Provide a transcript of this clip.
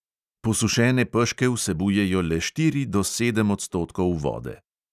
Posušene peške vsebujejo le štiri do sedem odstotkov vode.